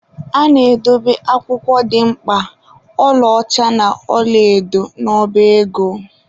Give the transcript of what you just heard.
A na-edobe akwụkwọ dị mkpa, ọla ọcha na ọla edo dgz n'ọba ego.